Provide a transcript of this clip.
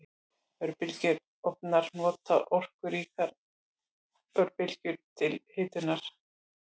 Örbylgjuofnar nota orkuríkar örbylgjur til hitunar.